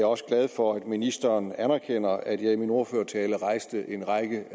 også glad for at ministeren anerkender at jeg i min ordførertale rejste en række